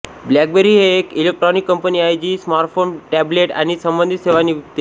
blackberry ही एक electronic company आहे जी स्मार्टफोन टॅब्लेट आणि संबंधित सेवा विकते